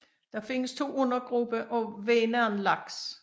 Der findes to undergrupper af vänernlaks